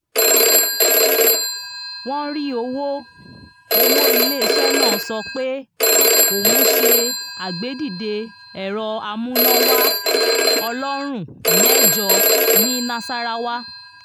wọ́n rí owó owó ilé iṣẹ́ náà sọ pé òun ṣe àgbédìde ẹ̀rọ amúnáwá ọlọ́rùn mẹ́jọ ní nasarawa